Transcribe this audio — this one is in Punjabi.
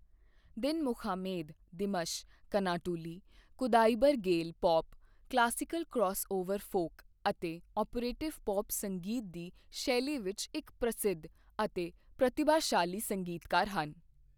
Dinmukhamed Dimash Kanatuly Kudaibergen pop, classical crossover folk ਅਤੇ ਔਪਰੇਟਿਵ ਪੌਪ ਸੰਗੀਤ ਦੀ ਸ਼ੈਲੀ ਵਿੱਚ ਇੱਕ ਪ੍ਰਸਿੱਧ ਅਤੇ ਪ੍ਰਤੀਭਾਸ਼ਾਲੀ ਸੰਗੀਤਕਾਰ ਹਨ।